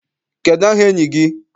Kedụ aha enyi gị?